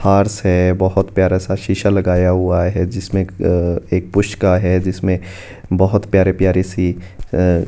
फर्श है बहोत प्यारा सा शीशा लगाया हुआ है जिसमें एक एक पुष्का है जिसमें बहोत प्यारी प्यारी सी अ--